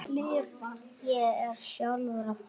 Ég er sjálfur að fara.